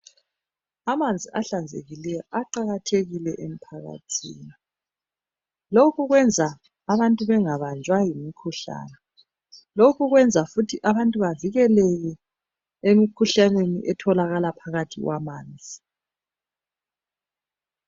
Amanzi ahlanzekileyo aqakathekile emphakathini. Lokhu kwenza abantu bengabanjwa yimikhuhlane. Lokhu kwenza futhi abantu bevikelele emikhuhlaneni etholakala phakathi kwamanzi.